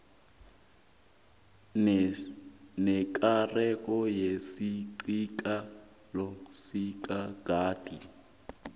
nekareko netjisakalo yangeqadi